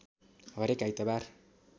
हरेक आइतबार